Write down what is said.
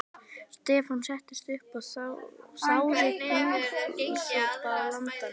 Stefán settist upp og þáði gúlsopa af landanum.